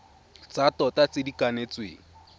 tsa tota tse di kanetsweng